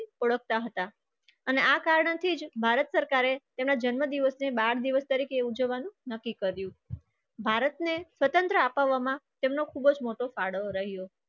હતા. અને આ કારણથી જ ભારત સરકારે તેના જન્મદિવસની બાર દિવસ તરીકે ઉજવવાનું નક્કી કર્યું. ભારતને સ્વતંત્ર અપાવવામાં તેમનો ખૂબ જ મોટો ફાળો રહ્યો.